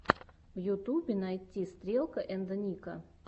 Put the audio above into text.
в ютубе найти стрелка энд ника